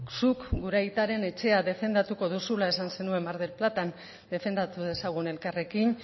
zuk gure aitaren etxea defendatuko duzula esan zenuen mar del platan defendatu dezagun elkarrekin